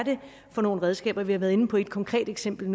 for nogle redskaber vi har været inde på et konkret eksempel